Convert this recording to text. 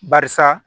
Barisa